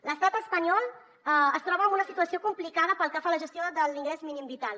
l’estat espanyol es troba en una situació complicada pel que fa a la gestió de l’ingrés mínim vital